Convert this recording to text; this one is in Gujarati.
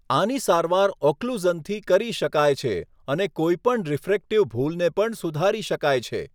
આની સારવાર ઓક્લુઝનથી કરી શકાય છે, અને કોઈપણ રીફ્રેક્ટિવ ભૂલને પણ સુધારી શકાય છે.